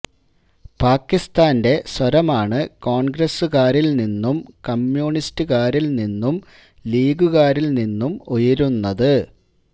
പാക്കിസ്ഥാന്റെ സ്വരമാണ് കോണ്ഗ്രസുകാരില് നിന്നും കമ്മ്യൂണിസ്റ്റുകാരില് നിന്നും ലീഗുകാരില് നിന്നും ഉയരുന്നത്